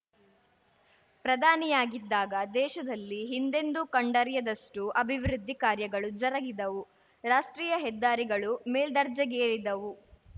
ಪ್ರಧಾನಿಯಾಗಿದ್ದಾಗ ದೇಶದಲ್ಲಿ ಹಿಂದೆಂದೂ ಕಂಡರಿಯದಷ್ಟುಅಭಿವೃದ್ಧಿ ಕಾರ್ಯಗಳು ಜರಗಿದವು ರಾಷ್ಟ್ರೀಯ ಹೆದ್ದಾರಿಗಳು ಮೇಲ್ದರ್ಜೆಗೇರಿದವು